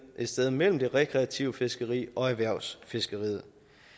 sted imellem det rekreative fiskeri og erhvervsfiskeriet